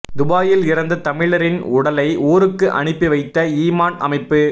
துபாயில் இறந்த தமிழரின் உடலை ஊருக்கு அனுப்பி வைத்த ஈமான் அமைப்பு